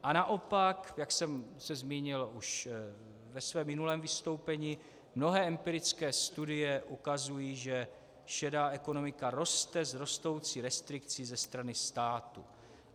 A naopak, jak jsem se zmínil už ve svém minulém vystoupení, mnohé empirické studie ukazují, že šedá ekonomika roste s rostoucí restrikcí ze strany státu.